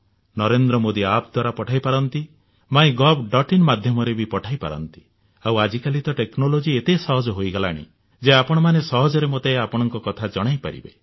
Narendra Modi app ଦ୍ୱାରା ପଠାଇ ପାରନ୍ତି mygovଆଇଏନ ମାଧ୍ୟମରେ ପଠାଇ ପାରନ୍ତି ଆଉ ଆଜି କାଲି ତ ଟେକ୍ନୋଲୋଜି ଏତେ ସହଜ ହୋଇଗଲାଣି ଯେ ଆପଣମାନେ ସହଜରେ ମୋତେ ଆପଣଙ୍କ କଥା ଜଣାଇପାରିବେ